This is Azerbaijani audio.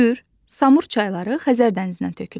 Kür, Samur çayları Xəzər dənizinə tökülür.